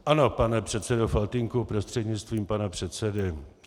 Ano, pane předsedo Faltýnku prostřednictvím pana předsedy.